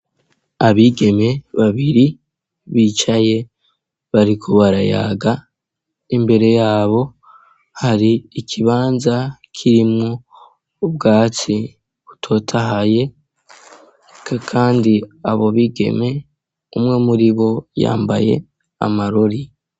Abigeme babiri bicaye bariko barayaga imbere yabo hari ikibanza kirimwo ubwatsi butotahaye kandi abo bigeme umwe muri bo yambaye amarori.